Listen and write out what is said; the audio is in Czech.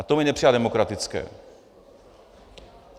A to mi nepřipadá demokratické.